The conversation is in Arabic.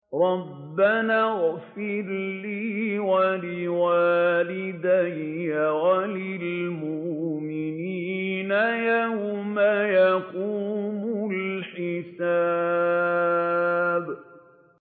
رَبَّنَا اغْفِرْ لِي وَلِوَالِدَيَّ وَلِلْمُؤْمِنِينَ يَوْمَ يَقُومُ الْحِسَابُ